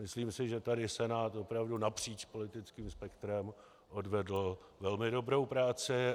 Myslím si, že tady Senát opravdu napříč politickým spektrem odvedl velmi dobrou práci.